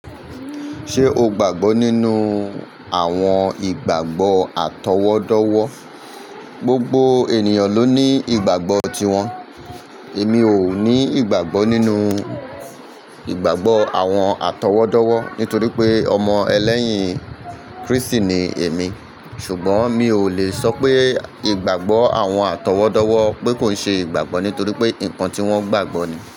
Ṣé o gbàgbọ́ nínú àwọn ìgbàgbọ́ àtọwọ́dọ́wọ́? Gbogbo ènìyàn ló ní ìgbàgbọ́ tiwọn. Èmi ò ní ìgbàgbọ́ nínú ìgbàgbọ́ àwọn àtọwọ́dọ́wọ́ nítorí pé ọmọ ẹlẹ́yìn Krístì ni èmi. Ṣùgbọ́n mi ò le sọ pé ìgbàgbọ́ àwọn àtọwọ́dọ́wọ́ pé kò ṣe ìgbàgbọ́ nítorí pé nǹkan tí wọ́n gbàgbọ́ ni.